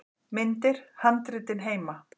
Myndir: Handritin heima.